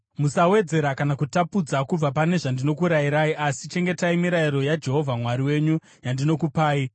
Musawedzera kana kutapudza kubva pane zvandinokurayirai, asi chengetai mirayiro yaJehovha Mwari wenyu yandinokupai.